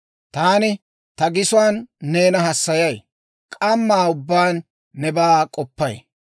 Taani ta gisuwaan neena hassayay; k'ammaa ubbaan nebaa k'oppay;